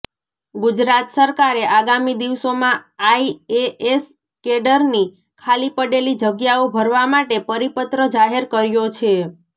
ગુજરાત સરકારે આગામી દિવસોમાં આઈએએસ કેડરની ખાલી પડેલી જગ્યાઓ ભરવા માટે પરિપત્ર જાહેર કર્યો છે